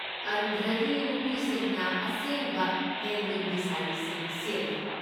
ꯑꯟꯙ꯭ꯔꯒꯤ ꯅꯨꯄꯤꯁꯤꯡꯅ ꯑꯁꯦꯡꯕ ꯍꯦꯟꯗꯂꯨꯝꯒꯤ ꯁꯥꯔꯤꯁꯤꯡ ꯁꯦꯠꯂꯤ꯫